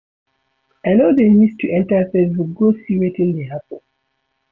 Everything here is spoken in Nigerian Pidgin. I no dey miss to enta Facebook go see wetin dey happen.